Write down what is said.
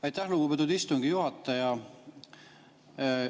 Aitäh, lugupeetud istungi juhataja!